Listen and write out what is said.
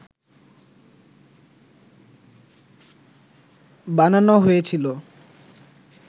বানানো হয়েছিল